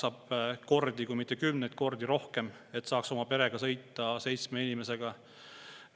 Vahe on kordades, kui mitte kümnetes kordades, kui sul on vaja oma perega, seitsme inimesega sõita.